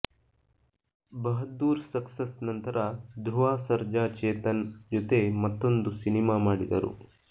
Bahadur success ನಂತರ ಧ್ರುವಾ ಸರ್ಜಾ ಚೇತನ್ ಜೊತೆ ಮತ್ತೊಂದು ಸಿನಿಮಾ ಮಾಡಿದರು